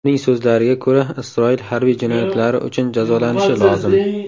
Uning so‘zlariga ko‘ra, Isroil harbiy jinoyatlari uchun jazolanishi lozim.